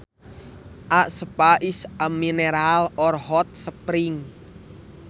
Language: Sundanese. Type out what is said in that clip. A spa is a mineral or hot spring